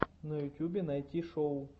на ютюбе найти шоу